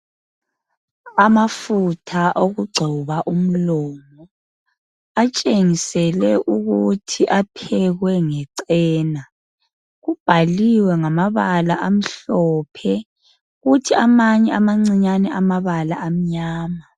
Amafutha okugcoba umlomo ,atshengiselwe ukuthi aphekwe ngecena. Kubhaliwe ngamabala amhlophe kuthi amanye amancinyane amabala amnyama.